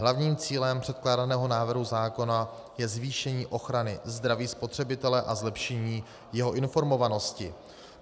Hlavním cílem předkládaného návrhu zákona je zvýšení ochrany zdraví spotřebitele a zlepšení jeho informovanosti.